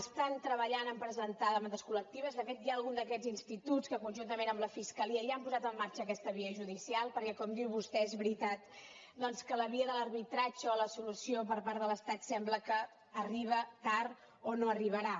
estan treballant a presentar demandes col·lectives de fet hi ha algun d’aquests instituts que conjuntament amb la fiscalia ja han posat en marxa aquesta via judicial perquè com diu vostè és veritat doncs que la via de l’arbitratge o la solució per part de l’estat sembla que arriba tard o no arribarà